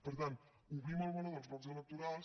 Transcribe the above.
per tant obrim el meló dels blocs electorals